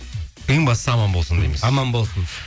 ең бастысы аман болсын дейміз аман болсын